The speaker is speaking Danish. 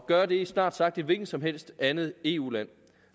gøre det i snart sagt et hvilket som helst andet eu land